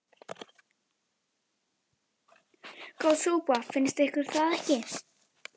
Góð súpa, finnst ykkur það ekki?